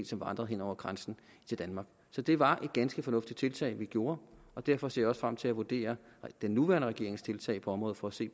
som vandrer hen over grænsen til danmark så det var et ganske fornuftigt tiltag vi tog og derfor ser jeg også frem til at vurdere den nuværende regerings tiltag på området for at se